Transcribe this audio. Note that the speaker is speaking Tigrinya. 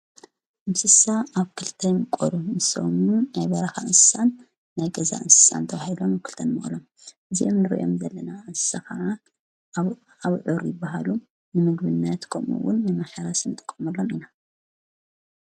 ምስሳ ኣብ ክልተምቆዱ ምስወኑ ናይበራኻ እንሳን ናይገዛ እንሳን ተውሂሎም ኣብ ክልተን መቕሎም ዜም ርእዮም ዘለና ኣሰኸዓ ኣብኣብ ዑሪ በሃሉ ንምግብናትቆምውን የመሕራ ስን ጠቖመሎን ኢና።